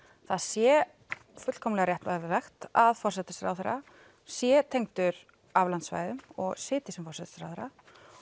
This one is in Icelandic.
það sé fullkomnlega réttlætanlegt að forsætisráðherra sé tengdur aflandssvæðum og sitji sem forsætisráðherra